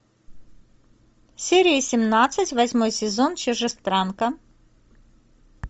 серия семнадцать восьмой сезон чужестранка